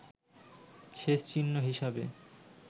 শেষ চিহ্ন হিসাবে